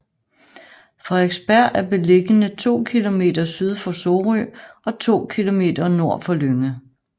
Frederiksberg er beliggende to kilometer syd for Sorø og to kilometer nord for Lynge